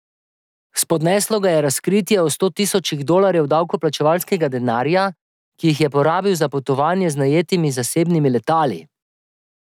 Spodneslo ga je razkritje o sto tisočih dolarjev davkoplačevalskega denarja, ki jih je porabil za potovanja z najetimi zasebnimi letali.